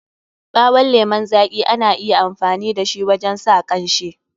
Ɓawon lemun zaƙi ana iya amfani da shi wajen sa kanshi.